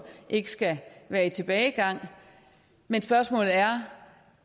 ikke skal være i tilbagegang men spørgsmålet er